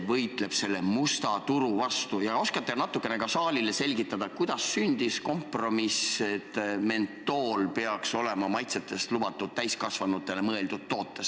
Ja ehk oskate natukene saalile selgitada ka seda, kuidas sündis kompromiss, et just mentool peaks olema lubatud täiskasvanutele mõeldud toodetes.